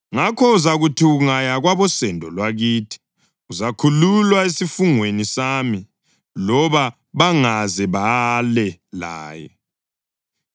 Ngakho uzakuthi ungaya kwabosendo lwakithi, uzakhululwa esifungweni sami loba bangaze bale laye.’